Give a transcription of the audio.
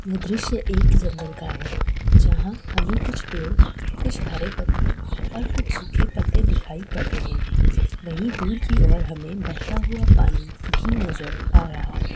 यह दृश्य एक जंगल का है जहाॅ हमें कुछ पेड़ कुछ हरे पत्ते और कुछ सूखे पत्ते दिखाई पड़ रहे है। वही दूर की और हमें बहता हुआ पानी भी नजर आ रहा है।